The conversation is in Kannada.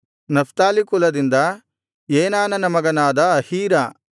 ನಫ್ತಾಲಿ ಕುಲದಿಂದ ಏನಾನನ ಮಗನಾದ ಅಹೀರ